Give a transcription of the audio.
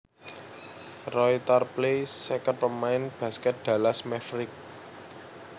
Roy Tarpley seket pamain baskèt Dallas Mavericks